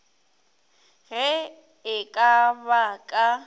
ge e ka ba ka